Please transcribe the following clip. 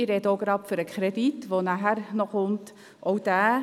Ich spreche auch gleich für den Kredit, der nachher noch an die Reihe kommt.